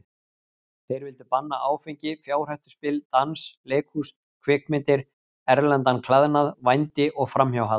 Þeir vildu banna áfengi, fjárhættuspil, dans, leikhús, kvikmyndir, erlendan klæðnað, vændi og framhjáhald.